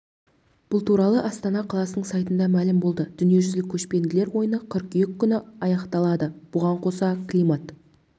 бұл туралы астана қаласының сайтында мәлім болды дүниежүзілік көшпенділер ойыны қыркүйек күні аяқталады бұған қоса климат